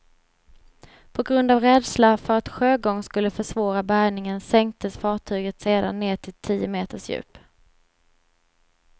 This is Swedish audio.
På grund av rädsla för att sjögång skulle försvåra bärgningen sänktes fartyget sedan ned till tio meters djup.